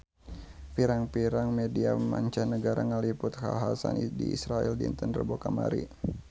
Pirang-pirang media mancanagara ngaliput kakhasan di Israel dinten Rebo kamari